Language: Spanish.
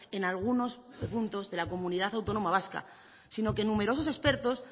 en algunos puntos de la comunidad autónoma vasca sino que numerosos expertos